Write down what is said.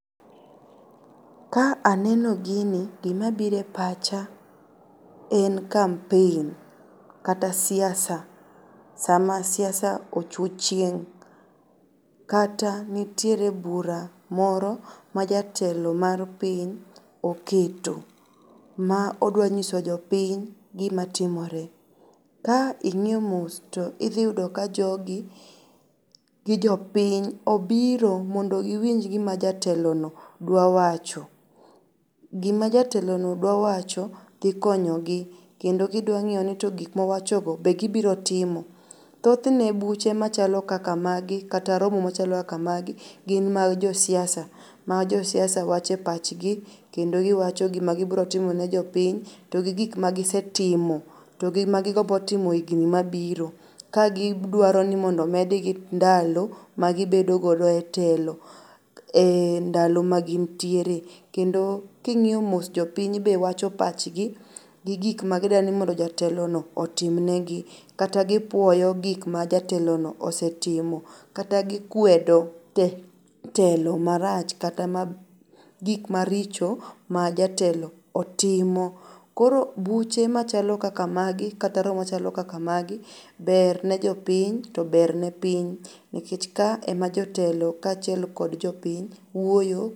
Ka aneno gini gimabire pacha en campaign kata siasa sama siasa ochu chieng' kata nitiere bura moro ma jatelo mar piny oketo ma odwanyiso jopiny gimatimore. Ka ing'iyo mos to idhiyudo ka jogi gi jopiny obiro mondo giwinj gima jatelono dwawacho. Gima jatelono dwawacho dhikonyogi kendo gidwang'eyoni gikmowachogo be gibirotimo. Thothne buche machalo kaka magi kata romo machalo kaka magi gin mag josiasa ma josiasa wache pachgi kendo giwacho gimagibrotimone jopiny to gi gik magisetimo to gi magigombo timo ehigni mabiro kagidwaro mondo omedgi ndalo ma gibedogodo e telo e ndalo magintiere kendo king'io mos jopiny be wacho pachgi gi gik magidani jatelono otimnegi kata gipuoyo gik ma jatelono osetimo kata gikwedo telo marach kata ma gikmaricho ma jatelo otimo. Koro buche machalo kaka magi kata romo machalo kaka magi ber ne jopiny to ber ne piny nikech ka ema jotelo kachiel kod jopiny wuoyo.